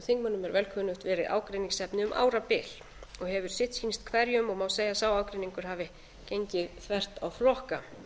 þingmönnum er vel kunnugt verið ágreiningsefni um árabil og hefur sitt sýnst hverjum og má segja að sá ágreiningur hafi gengið þvert á flokka